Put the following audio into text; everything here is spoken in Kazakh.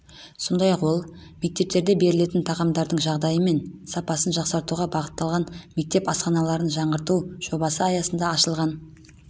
сондай-ақ ол мектептерде берілетін тағамдардың жағдайы мен сапасын жақсартуға бағытталған мектеп асханаларын жаңғырту жобасы аясында ашылған